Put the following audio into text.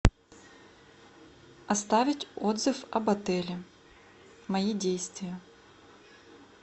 оставить отзыв об отеле мои действия